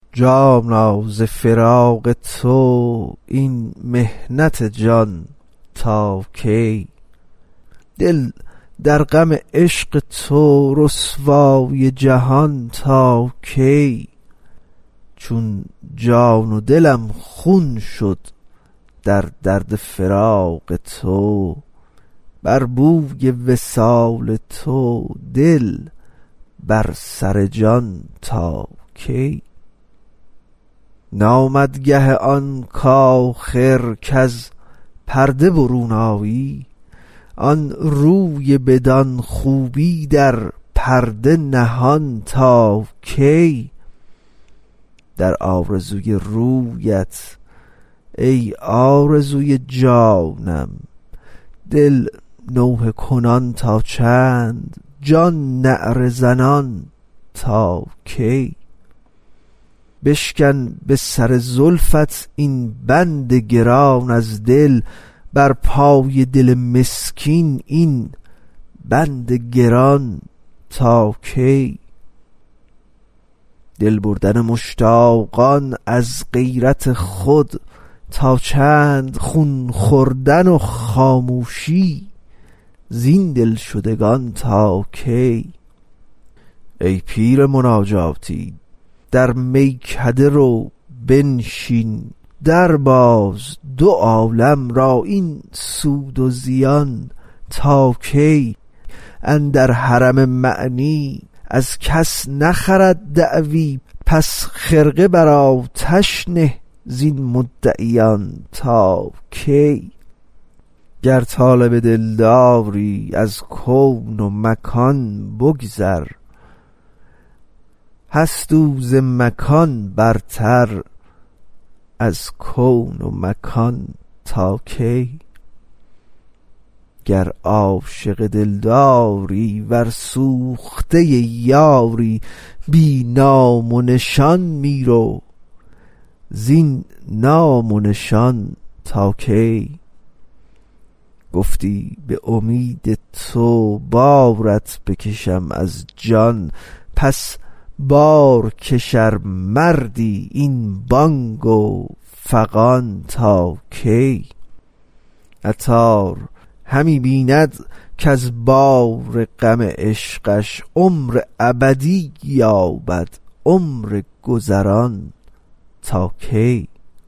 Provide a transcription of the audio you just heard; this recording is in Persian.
جانا ز فراق تو این محنت جان تا کی دل در غم عشق تو رسوای جهان تا کی چون جان و دلم خون شد در درد فراق تو بر بوی وصال تو دل بر سر جان تا کی نامد گه آن آخر کز پرده برون آیی آن روی بدان خوبی در پرده نهان تا کی در آرزوی رویت ای آرزوی جانم دل نوحه کنان تا چند جان نعره زنان تا کی بشکن به سر زلفت این بند گران از دل بر پای دل مسکین این بند گران تا کی دل بردن مشتاقان از غیرت خود تا چند خون خوردن و خاموشی زین دلشدگان تا کی ای پیر مناجاتی در میکده رو بنشین درباز دو عالم را این سود و زیان تا کی اندر حرم معنی از کس نخرند دعوی پس خرقه بر آتش نه زین مدعیان تا کی گر طالب دلداری از کون و مکان بگذر هست او ز مکان برتر از کون و مکان تا کی گر عاشق دلداری ور سوخته یاری بی نام و نشان می رو زین نام و نشان تا کی گفتی به امید تو بارت بکشم از جان پس بارکش ار مردی این بانگ و فغان تا کی عطار همی بیند کز بار غم عشقش عمر ابدی یابد عمر گذران تا کی